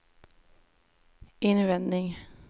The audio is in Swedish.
invändig